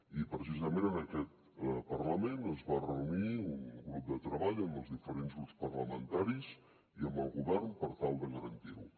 i precisament en aquest parlament es va reunir un grup de treball amb els diferents grups parlamentaris i amb el govern per tal de garantir ho